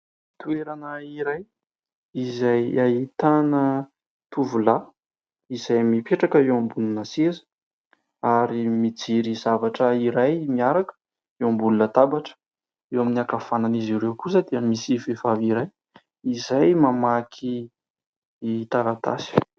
Toerana iray izay ahitana tovolahy izay mipetraka eo ambonina seza ary mijery zavatra iray miaraka eo ambony latabatra. Eo amin'ny ankavanan'izy ireo kosa dia misy vehivavy iray izay mamaky taratasy.